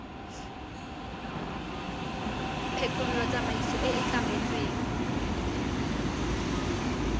phekolo tsamaiso e e tlametsweng